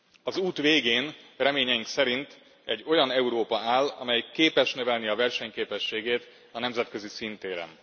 Az út végén reményeink szerint egy olyan Európa áll, amelyik képes növelni versenyképességét a nemzetközi színtéren.